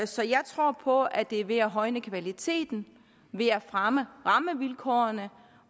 så jeg tror på at det er ved at højne kvaliteten ved at fremme rammevilkårene